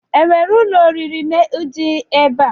O nwere ụlọ oriri dị ebe a?